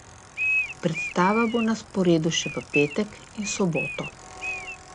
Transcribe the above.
Predstava bo na sporedu še v petek in soboto.